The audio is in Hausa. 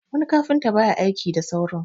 wani kafinta ba ya aiki da saurin